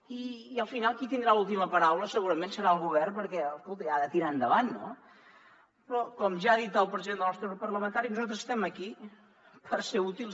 i al final qui tindrà l’última paraula segurament serà el govern perquè ha de tirar endavant no però com ja ha dit el president del nostre grup parlamentari nosaltres estem aquí per ser útils